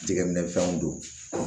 Jɛgɛminɛfɛnw don